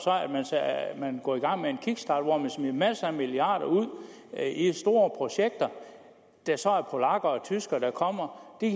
at at man går i gang med en kickstart hvor man smider masser af milliarder ud i store projekter når det så er polakker og tyskere der kommer det